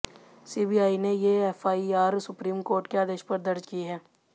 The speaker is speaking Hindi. सीबीआई ने ये एफआईआर सुप्रीम कोर्ट के आदेश पर दर्ज़ की हैं